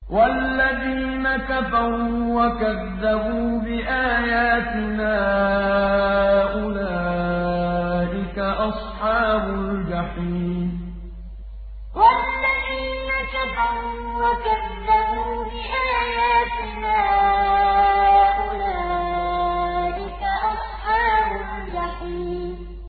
وَالَّذِينَ كَفَرُوا وَكَذَّبُوا بِآيَاتِنَا أُولَٰئِكَ أَصْحَابُ الْجَحِيمِ وَالَّذِينَ كَفَرُوا وَكَذَّبُوا بِآيَاتِنَا أُولَٰئِكَ أَصْحَابُ الْجَحِيمِ